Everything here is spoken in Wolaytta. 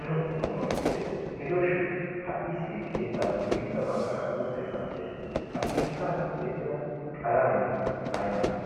daro qommoy de'ees. Gidooshin ha issi keettaappe guyyessa baggaara uuttaykka beettees. Ha keettan tiyettida qalamee aymale?